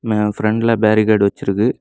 அ பிரெண்ட்ல பேரிகார்ட் வெச்சுருக்கு.